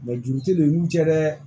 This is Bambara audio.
juru te don i n'u cɛ dɛ